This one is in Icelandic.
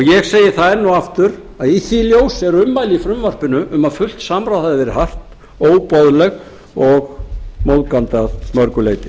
ég segi það enn og aftur að í því ljósi eru ummæli í frumvarpinu um að fullt samráð hafi verið haft óboðleg og móðgandi að mörgu leyti